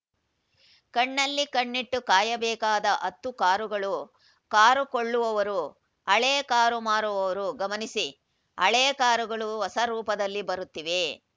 ಕಣ್ಣಲ್ಲಿ ಕಣ್ಣಿಟ್ಟು ಕಾಯಬೇಕಾದ ಹತ್ತು ಕಾರುಗಳು ಕಾರು ಕೊಳ್ಳುವವರು ಹಳೇ ಕಾರು ಮಾರುವವರು ಗಮನಿಸಿ ಹಳೇ ಕಾರುಗಳು ಹೊಸ ರೂಪದಲ್ಲಿ ಬರುತ್ತಿವೆ